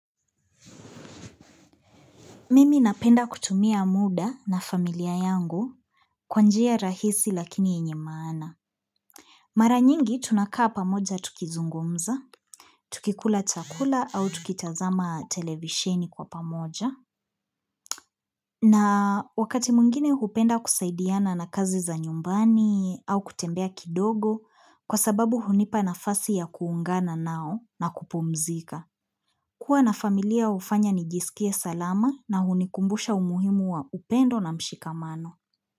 Mimi napenda kutumia muda na familia yangu kwa njia rahisi lakini yenye maana. Mara nyingi tunakaa pamoja tukizungumza, tukikula chakula au tukitazama televisheni kwa pamoja. Na wakati mwingine hupenda kusaidiana na kazi za nyumbani au kutembea kidogo kwa sababu hunipa nafasi ya kuungana nao na kupumzika. Kuwa na familia hufanya nijisikie salama na hunikumbusha umuhimu wa upendo na mshikamano.